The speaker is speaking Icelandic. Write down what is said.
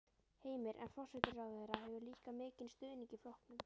Heimir: En forsætisráðherra hefur líka mikinn stuðning í flokknum?